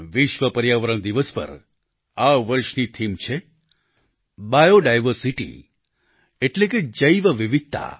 વિશ્વ પર્યાવરણ દિવસ પર આ વર્ષની થીમ છે બાયો ડાયવર્સિટી એટલે કે જૈવ વિવિધતા